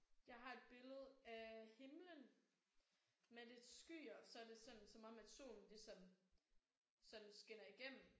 Jeg har et billede af himlen med lidt skyer. Så er det sådan som om solen den ligesom sådan skinner igennem